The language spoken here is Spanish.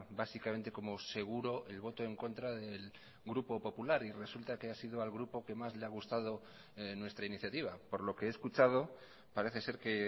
básicamente como seguro el voto en contra del grupo popular y resulta que ha sido al grupo que más le ha gustado nuestra iniciativa por lo que he escuchado parece ser que